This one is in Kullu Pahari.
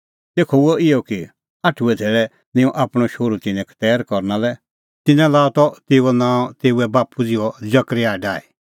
तेखअ हुअ इहअ कि आठुऐ धैल़ै निंयं आपणअ शोहरू तिन्नैं खतैर करना लै ता तिन्नैं लाअ त तेऊओ नांअ तेऊए बाप्पू ज़िहअ जकरयाह डाही